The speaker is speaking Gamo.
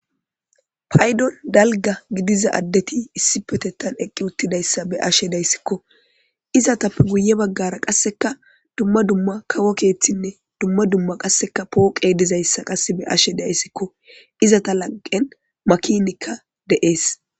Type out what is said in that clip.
Paydon dalga gidiza addeti issi petetan eqqi uttidayssa be ashe dayssikko izatappe guye baggara qasseka dumma dumma kawo keeththinne dumma dumma qasseka pooqe dizayssa qass be ashe deassikko izata laqen makinikka deees.